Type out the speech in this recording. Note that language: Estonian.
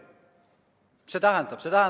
Mis see tähendab?